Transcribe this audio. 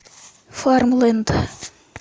фармленд